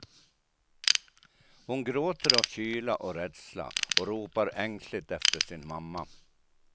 Hon gråter av kyla och rädsla och ropar ängsligt efter sin mamma.